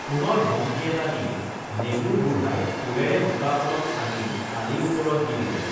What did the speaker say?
পুনৰ ধমকি এটা দি নেগুৰ বুঢ়াই কোৰেৰে বোকা অলপ আনি আলি ওপৰত দি দিলে